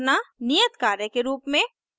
नियत कार्य के रूप में